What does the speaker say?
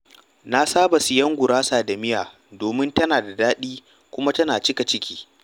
Na saba sayen gurasa da miya domin tana da daɗi kuma tana cika ciki.